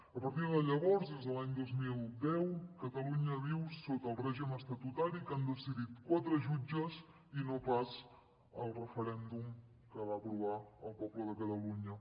a partir de llavors des de l’any dos mil deu catalunya viu sota el règim estatutari que han decidit quatre jutges i no pas el referèndum que va aprovar el poble de catalunya